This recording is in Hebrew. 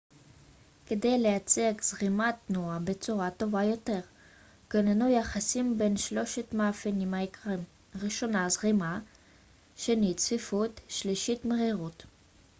כדי לייצג זרימת תנועה בצורה טובה יותר כוננו יחסים בין שלושת המאפיינים העיקריים: 1 זרימה 2 צפיפות ו-3 מהירות